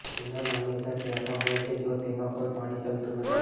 channel હંમેશાં ત્યાં પણ હોય છે જો તેમાં કોઈ પાણી ચાલતું નથી